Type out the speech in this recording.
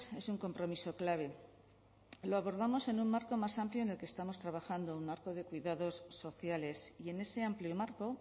es un compromiso clave lo abordamos en un marco más amplio en el que estamos trabajando un marco de cuidados sociales y en ese amplio marco